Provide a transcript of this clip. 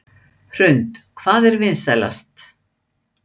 Hrund: Hvað er vinsælast?